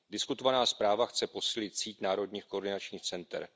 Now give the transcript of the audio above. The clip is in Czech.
Diskutovaná zpráva chce posílit síť národních koordinačních center.